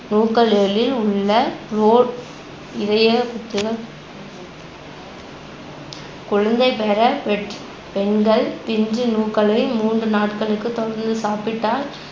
நூக்கள்களில் உள்ள இதய குழந்தைபெற பெற்~ பெண்கள் பிஞ்சு நூக்களை மூன்று நாட்களுக்கு தொடர்ந்து சாப்பிட்டால்